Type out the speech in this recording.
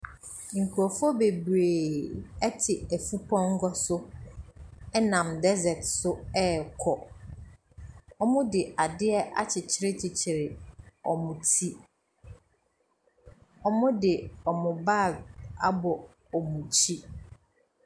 Nkurɔfoɔ bebree te afurumpɔnkɔ so nam desert so ɛrekɔ. Wɔde ade akyekyerekyekyere wɔn ti. Wɔde wɔn baage abɔ wɔn akyi.